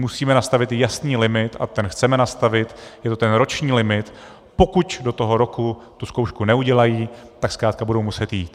Musíme nastavit jasný limit, a ten chceme nastavit, je to ten roční limit, pokud do toho roku tu zkoušku neudělají, tak zkrátka budou muset jít.